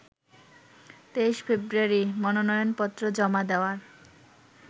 ২৩ February মনোনয়নপত্র জমা দেওয়ার